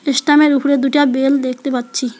ইস্টামের -এর উপরে দুইটা বেল দেখতে পাচ্ছি।